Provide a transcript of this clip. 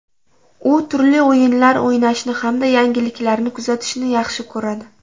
U turli o‘yinlar o‘ynashni hamda yangiliklarni kuzatishni yaxshi ko‘radi.